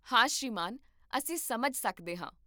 ਹਾ ਸ਼੍ਰੀਮਾਨ, ਅਸੀਂ ਸਮਝ ਸਕਦੇ ਹਾਂ